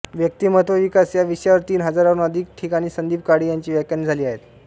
व्यक्तिमत्व विकास या विषयावर तीन हजारावून अधिक ठिकाणी संदीप काळे यांची व्याख्याने झाली आहेत